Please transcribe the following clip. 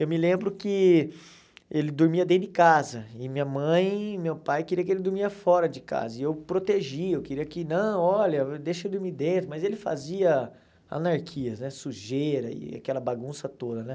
Eu me lembro que ele dormia dentro de casa, e minha mãe e meu pai queriam que ele dormia fora de casa, e eu protegia, eu queria que não, olha, deixa eu dormir dentro, mas ele fazia anarquias né, sujeira e aquela bagunça toda né.